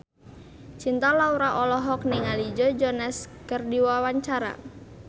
Cinta Laura olohok ningali Joe Jonas keur diwawancara